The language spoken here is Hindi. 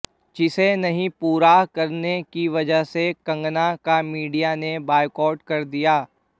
जिसे नहीं पूरा करने की वजह से कंगना का मीडिया ने बायकॉट कर दिया